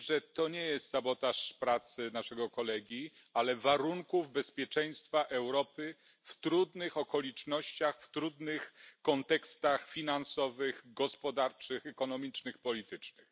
to nie jest sabotaż pracy naszego kolegi, ale warunków bezpieczeństwa Europy w trudnych okolicznościach, w trudnych kontekstach finansowych, gospodarczych, ekonomicznych, politycznych.